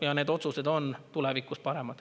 Ja need otsused on tulevikus paremad.